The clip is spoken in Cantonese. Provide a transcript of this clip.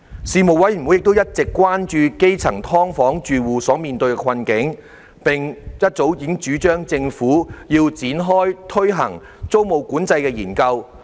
事務委員會一直關注基層"劏房"住戶所面對的困境，並早已主張政府應展開推行租務管制的研究。